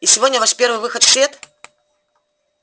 и сегодня ваш первый выход в свет